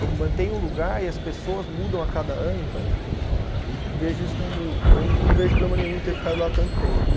Eu mantenho o lugar e as pessoas mudam a cada ano, então, vejo isso como, eu não vejo problema nenhum em ter ficado lá tanto tempo.